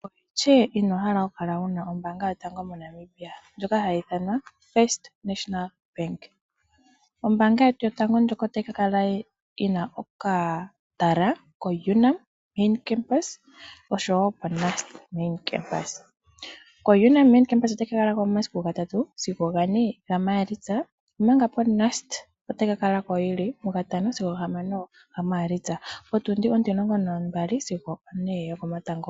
Oshike wa hala oku kala waana ombaanga yotango moNamibia, ndjoka hayi ithanwa o-First National Bank. Ombaanga yetu yotango otayi ka kala yina okatala ko-UNAM Main Campus noshowo ko-NUST Main Campus. Ko-UNAM Main Campus otayi ka kala ko momasiku gatatu sigo gane gaMaalitsa, omanga ko-NUST Main Campus otayi ka kala ko momasiku gatano sigo gahamano gaMaalitsa, ethimbo potundi ontimulongo nambali sigo opone yokomatango.